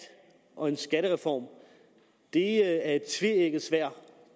og en skattereform er et tveægget sværd